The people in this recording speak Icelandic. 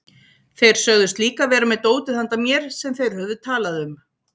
Þeir sögðust líka vera með dótið handa mér sem þeir höfðu talað um.